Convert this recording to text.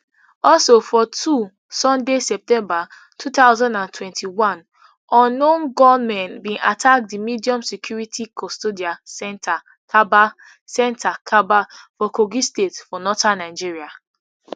also for two sunday september two thousand and twenty-one unknown gunmen bin attack di medium security custodial centre kabba centre kabba for kogi state for northern nigeria